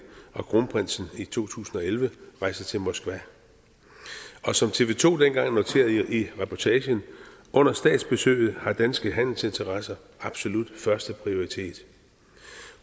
og kronprinsen i to tusind og elleve rejste til moskva som tv to dengang noterede i reportagen under statsbesøget har danske handelsinteresser absolut førsteprioritet